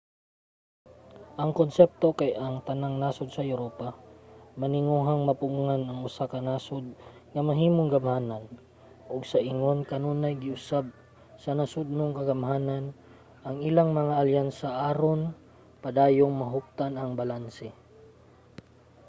ang konsepto kay ang tanang nasod sa europa maninguhang mapugngan ang usa ka nasod nga mahimong gamhanan ug sa ingon kanunay giusab sa nasodnong kagamhanan ang ilang mga alyansa aron padayong mahuptan ang balanse